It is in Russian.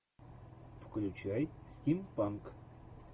включай стимпанк